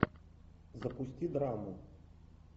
запусти драму